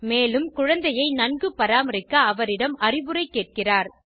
மேலும் குழந்தையை நன்கு பராமரிக்க அவரிம் அறிவுரை கேட்கிறார்